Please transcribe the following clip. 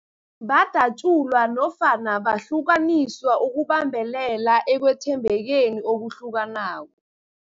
Badatjulwa nofana bahlukaniswa ukubambelela ekwethembekeni okuhlukanako.